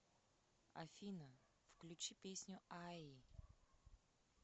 афина включи песню аи